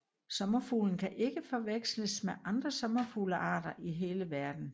Sommerfuglen kan ikke forveksles med andre sommerfuglearter i hele verden